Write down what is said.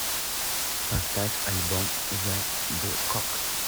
поставь альбом зе декокс